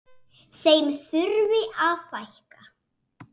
Þeim þurfi að fækka.